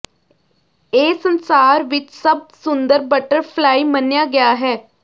ਇਹ ਸੰਸਾਰ ਵਿੱਚ ਸਭ ਸੁੰਦਰ ਬਟਰਫਲਾਈ ਮੰਨਿਆ ਗਿਆ ਹੈ